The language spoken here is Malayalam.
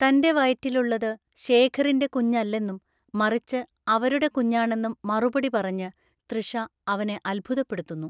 തൻ്റെ വയറ്റിലുള്ളത് ശേഖറിൻ്റെ കുഞ്ഞല്ലെന്നും മറിച്ച് അവരുടെ കുഞ്ഞാണെന്നും മറുപടി പറഞ്ഞ് തൃഷ അവനെ അത്ഭുതപ്പെടുത്തുന്നു.